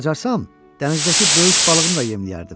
Bacarsam, dənizdəki böyük balığımı da yemləyərdim.